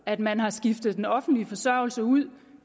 at man har skiftet den offentlige forsørgelse ud